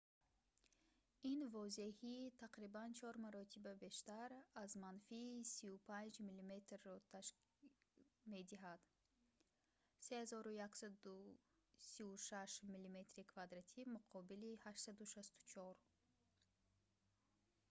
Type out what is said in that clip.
ин возеҳии тақрибан чор маротиба бештар аз манфии 35 мм-ро медиҳад 3136 мм2 муқобили 864